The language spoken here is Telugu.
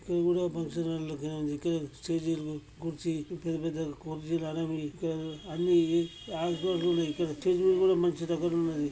ఇక్కడ కూడా ఫంక్షన్ హాల్ లెక్కనే ఉంది. ఇక్కడ స్టేజీ లో కూర్చి పెద్ద పెద్ద కుర్చీలు అనేవి ఇక్కడ అన్ని స్టేజ్ మీద కూడా మంచి ఉన్నది.